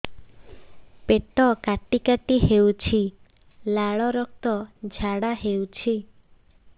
ପେଟ କାଟି କାଟି ହେଉଛି ଲାଳ ରକ୍ତ ଝାଡା ହେଉଛି